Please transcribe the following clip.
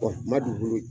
ma dugukolo